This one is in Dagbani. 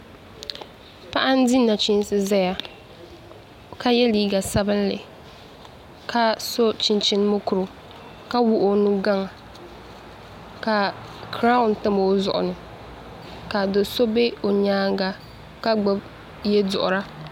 Paɣa n di nachiinsi ʒɛya ka yɛ liiga sabinli ka so chinchin mokuru ka wuɣi o nugaŋa ka kiraawn tam o zuɣu ni ka do so bɛ o nyaanga